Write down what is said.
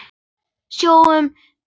Sjáum til, góði.